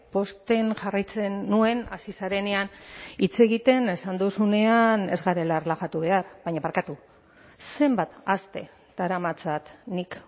pozten jarraitzen nuen hasi zarenean hitz egiten esan duzunean ez garela erlaxatu behar baina barkatu zenbat aste daramatzat nik